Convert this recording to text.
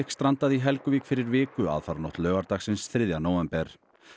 strandaði í Helguvík fyrir viku aðfaranótt laugardagsins þriðja nóvember